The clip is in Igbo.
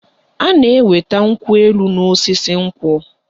A na-enweta nkwụ elu n'osisi nkwụ